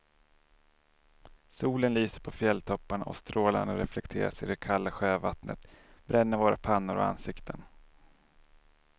Solen lyser på fjälltopparna och strålarna reflekteras i det kalla sjövattnet, bränner våra pannor och ansikten.